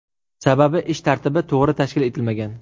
Sababi ish tartibi to‘g‘ri tashkil etilmagan.